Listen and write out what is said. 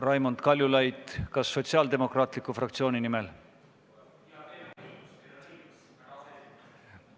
Raimond Kaljulaid, kas Sotsiaaldemokraatliku Erakonna fraktsiooni nimel?